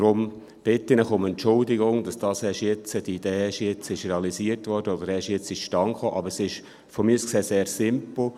Daher bitte ich Sie um Entschuldigung, dass diese Idee erst jetzt realisiert wurde oder erst jetzt zustande kam, aber es ist von mir aus gesehen sehr simpel.